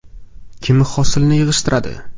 Kim hosilni yig‘ishtiradi?